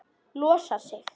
Losar sig.